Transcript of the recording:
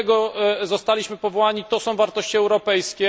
Do tego zostaliśmy powołani, to są wartości europejskie.